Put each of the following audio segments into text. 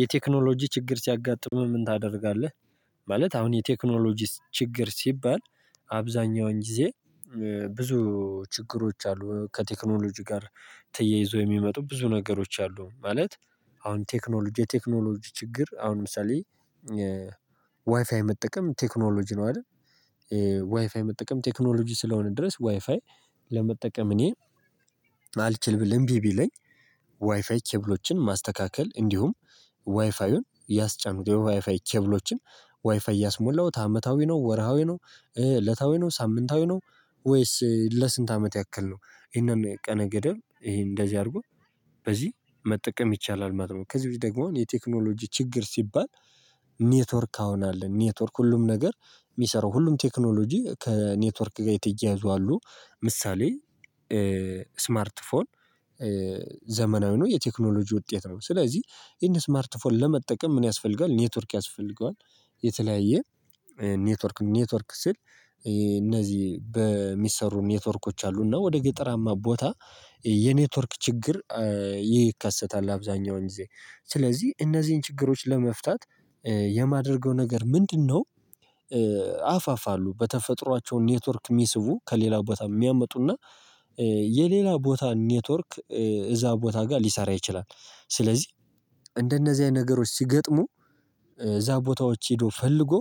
የቴክኖሎጂ ችግር ሲያጋጥምህ ምን ታደርጋለህ? ማለት አሁን የቴክኖሎጂ ችግር ሲባል አብዛኛውን ጊዜ ብዙ ችግሮች አሉ። ከቴክኖሎጂ ጋር ተያይዞ የሚመጡ ብዙ ነገሮች አሉ። ማለት አሁን ቴክኖሎጂ የቴክኖሎጂ ችግር አሁን ለምሳሌ ዋይፋይ መጠቀም ቴክኖሎጂ ነው አይደል? ዋይፋይ መጠቀም ቴክኖሎጂ ስለሆነ ድረስ ዋይፋይ ለመጠቀም እኔ አልችልም። እምቢ ቢለኝ። ዋይፋይ ኬብሎችን ማስተካከል እንዲሁም ዋይፋዩን ያስጫንኩ የዋይፋይ ኬብሎችን ዋይፋይ ያስሞላሁት አመታዊ ነው። ወርሃዊ ነው እለታዊ ነው ሳምንታዊ ነው። ወይስ ለስንት አመት ያክል ነው? ይሄንን ቀነ ገደብ ይሄ እንደዚህ አድርጎ በዚህ መጠቀም ይቻላል ማለት ነው። ከዚህ ውስጥ ደግሞ የቴክኖሎጂ ችግር ሲባል። ኔትወርክ አሁን አለ ኔትወርክ ሁሉም ነገር የሚሰራው ሁሉም ቴክኖሎጂ ከኔትወርክ ጋር የተያያዙ አሉ። ምሳሌ ስማርት ፎን ዘመናዊ ነው የቴክኖሎጂ ውጤት ነው። ስለዚህ ይሄን ስማርት ፎን ለመጠቀም ምን ያስፈልጋል? ኔትወርክ ያስፈልገዋል። የተለያየ ኔትወርክም ኔትወርክ ስል እነዚህ በሚሰሩ ኔትወርኮች አሉና ወደ ገጠራማ ቦታ የኔትወርክ ችግር ይከሰታል። አብዛኛውን ጊዜ ስለዚህ እነዚህን ችግሮች ለመፍታት የማደርገው ነገር ምንድነው? አፋፋሉ በተፈጥሯቸው ኔትወርክ የሚስቡ ከሌላ ቦታ የሚያመጡና የሌላ ቦታ ኔትወርክ እዛ ቦታ ጋር ሊሰራ ይችላል። ስለዚህ እንደነዚህ አይነት ነገሮች ሲገጥሙ እዛ ቦታዎች ሄዶ ፈልጎ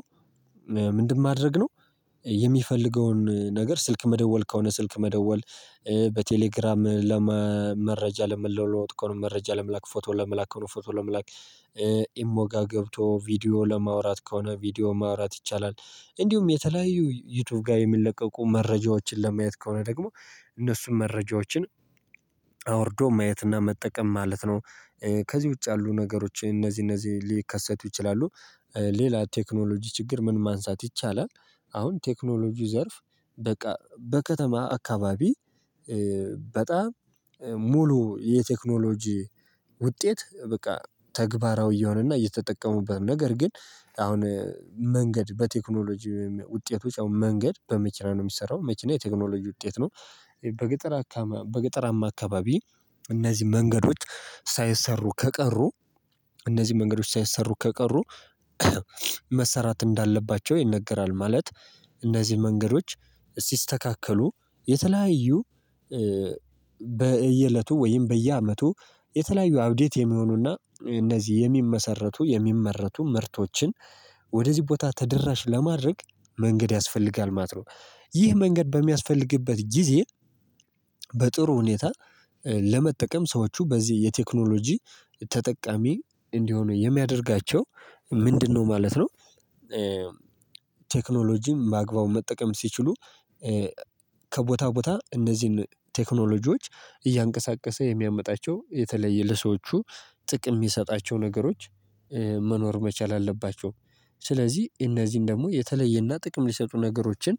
ምንድን ማድረግ ነው? የሚፈልገውን ነገር ስልክ መደወል ከሆነ ስልክ መደወል በቴሌግራም ለመረጃ ለመለወጥ ከሆነ መረጃ ለመላክ ፎቶ ለመላክ ፎቶ ለመላክ ኢሞ ጋ ገብቶ ቪዲዮ ለማውራት ከሆነ ቪዲዮ ማውራት ይቻላል። እንዲሁም የተለያዩ ዩቲዩብ ጋር የሚለቀቁ መረጃዎችን ለማየት ከሆነ ደግሞ እነሱን መረጃዎችን አውርዶ ማየትና መጠቀም ማለት ነው። ከዚህ ውጪ ያሉ ነገሮች እነዚህ እነዚህ ሊከሰቱ ይችላሉ። ሌላ ቴክኖሎጂ ችግር ምን ማንሳት ይቻላል? አሁን ቴክኖሎጂ ዘርፍ በቃ በከተማ አካባቢ በጣም ሙሉ የቴክኖሎጂ ውጤት በቃ ተግባራዊ የሆነና እየተጠቀሙበት ነገር ግን አሁን መንገድ በቴክኖሎጂ ውጤቶች አሁን መንገድ በመኪና ነው የሚሰራው መኪና የቴክኖሎጂ ውጤት ነው። በገጠር በገጠራማ አካባቢ እነዚህ መንገዶች ሳይሰሩ ከቀሩ እነዚህ መንገዶች ሳይሰሩ ከቀሩ መሰራት እንዳለባቸው ይነገራል። ማለት እነዚህን መንገዶች ሲስተካከሉ የተለያዩ በየእለቱ ወይም በየአመቱ የተለያዩ አብዴት የሚሆኑና እነዚህ የሚመሰረቱ የሚመረቱ ምርቶችን ወደዚህ ቦታ ተደራሽ ለማድረግ መንገድ ያስፈልጋል ማለት ነው። ይህ መንገድ በሚያስፈልግበት ጊዜ በጥሩ ሁኔታ ለመጠቀም ሰዎቹ በዚህ የቴክኖሎጂ ተጠቃሚ እንዲሆኑ የሚያደርጋቸው ምንድነው ማለት ነው። ቴክኖሎጂን በአግባቡ መጠቀም ሲችሉ ከቦታ ቦታ እነዚህን ቴክኖሎጂዎች እያንቀሳቀሰ የሚያመጣቸው የተለየ ለሰዎቹ ጥቅም የሚሰጣቸው ነገሮች መኖር መቻል አለባቸው። ስለዚህ እነዚህን ደግሞ የተለየና ጥቅም ሊሰጡ ነገሮችን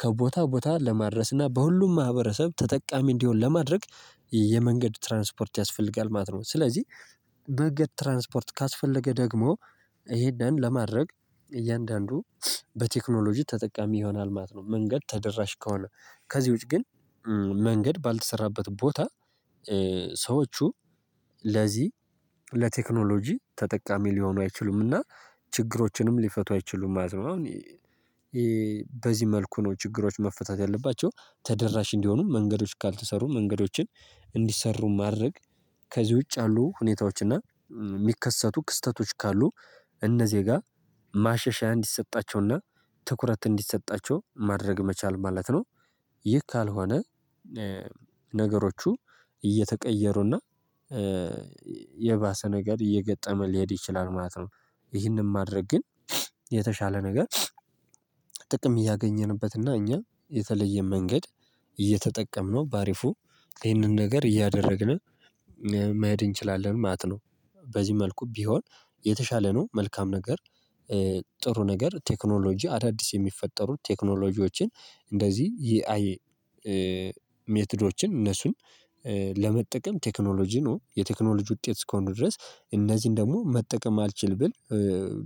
ከቦታ ቦታ ለማድረስና በሁሉም ማህበረሰብ ተጠቃሚ እንዲሆን ለማድረግ የመንገድ ትራንስፖርት ያስፈልጋል ማለት ነው። ስለዚህ መንገድ ትራንስፖርት ካስፈለገ ደግሞ ይሄንን ለማድረግ እያንዳንዱ በቴክኖሎጂ ተጠቃሚ ይሆናል ማለት ነው። መንገድ ተደራሽ ከሆነ ከዚህ ውጪ ግን መንገድ ባልተሰራበት ቦታ ሰዎቹ ለዚህ ለቴክኖሎጂ ተጠቃሚ ሊሆኑ አይችሉምና። ችግሮችንም ሊፈቱ አይችሉም ማለት አሁን በዚህ መልኩ ነው ችግሮች መፈታት ያለባቸው ተደራሽ እንዲሆኑ መንገዶች ካልተሰሩ መንገዶችን እንዲሰሩ ማድረግ ከዚህ ውጪ አሉ ሁኔታዎች እና የሚከሰቱ ክስተቶች ካሉ እነ ዜጋ ማሸሻ እንዲሰጣቸውና ትኩረት እንዲሰጣቸው ማድረግ መቻል ማለት ነው። ይህ ካልሆነ ነገሮቹ እየተቀየሩና የባሰ ነገር እየገጠመ ሊሄድ ይችላል ማለት ነው። ይህንን ማድረግ ግን የተሻለ ነገር ጥቅም እያገኘንበትና እኛ የተለየ መንገድ እየተጠቀምነው በአሪፉ ይህንን ነገር እያደረግነ መሄድ እንችላለን ማለት ነው። በዚህ መልኩ ቢሆን የተሻለ ነው። መልካም ነገር ጥሩ ነገር ቴክኖሎጂ አዳዲስ የሚፈጠሩ ቴክኖሎጂዎችን እነዚህ የአይ ሜትዶችን እነሱን ለመጠቀም ቴክኖሎጂ ነው የቴክኖሎጂ ውጤት እስከሆንን ድረስ እነዚህን ደግሞ መጠቀም አልችል ብል።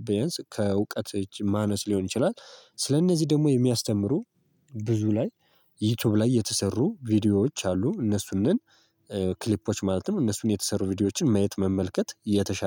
ቢያንስ ከእውቀት ማነስ ሊሆን ይችላል ስለእነዚህ ደግሞ የሚያስተምሩ ብዙ ላይ ዩቲዩብ ላይ የተሰሩ ቪዲዮዎች አሉ እነሱነን ክሊፖች ማለትም እነሱን የተሰሩ ቪዲዮዎችን ማየት መመልከት የተሻ